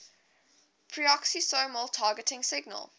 peroxisomal targeting signal